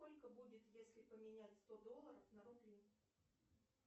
сколько будет если поменять сто долларов на рубли